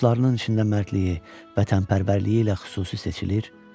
Dostlarının içində mərdliyi, vətənpərvərliyi ilə xüsusi seçilir.